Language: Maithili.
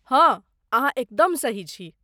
हँ अहाँ एकदम सही छी।